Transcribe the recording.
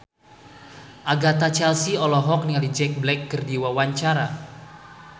Agatha Chelsea olohok ningali Jack Black keur diwawancara